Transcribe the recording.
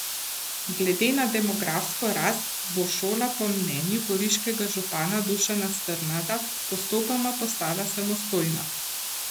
Glede na demografsko rast bo šola po mnenju goriškega župana Dušana Strnada postopoma postala samostojna.